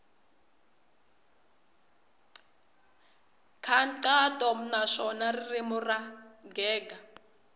nkhaqato naswona ririmi ro gega